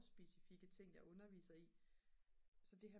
specifikke ting jeg underviser i så det her